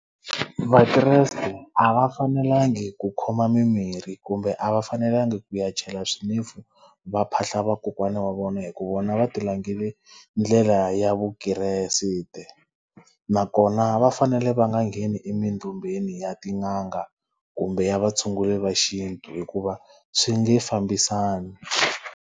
Vakreste a va fanelangi ku khoma mimirhi kumbe a va fanelangi ku ya chela swinefu va phahla vakokwana wa vona hikuva vona va ti langhele ndlela ya vukreste. Nakona va fanele va nga ngheni emindumbeni ya tin'anga kumbe ya vatshunguri va xintu hikuva swi nge fambisani.